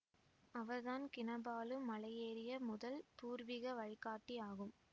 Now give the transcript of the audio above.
அவர்தான் கினபாலு மலை ஏறிய முதல் பூர்வீக வழிகாட்டி ஆகும்